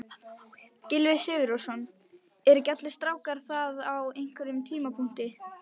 Gylfi Sigurðsson: Eru ekki allir strákar það á einhverjum tímapunkti?